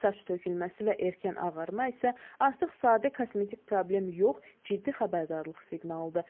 Saç tökülməsi və erkən ağarma isə artıq sadə kosmetik problem yox, ciddi xəbərdarlıq siqnalıdır.